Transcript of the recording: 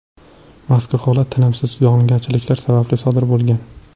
Mazkur holat tinimsiz yog‘ingarchiliklar sababli sodir bo‘lgan.